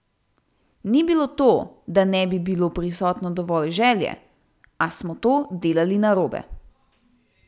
Ni bilo to, da ne bi bilo prisotno dovolj želje, a smo to delali narobe.